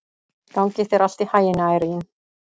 Gangi þér allt í haginn, Irene.